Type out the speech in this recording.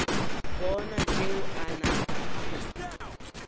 bona tšeo a napa a